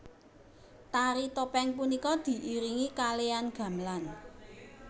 Tari topeng punika diiringi kalean gamelan